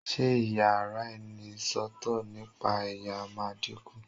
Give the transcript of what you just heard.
ṣe iyaraenisọtọ nipa ẹyà ma diku